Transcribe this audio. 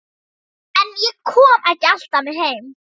En ég kom ekki alltaf með heim.